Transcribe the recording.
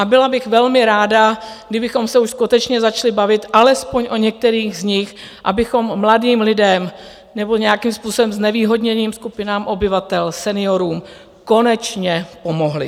A byla bych velmi ráda, kdybychom se už skutečně začali bavit alespoň o některých z nich, abychom mladým lidem nebo nějakým způsobem znevýhodněným skupinám obyvatel, seniorům, konečně pomohli.